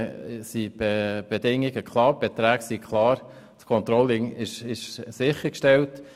Die Bedingungen und die Beträge sind klar und das Controlling sichergestellt.